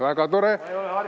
Väga tore!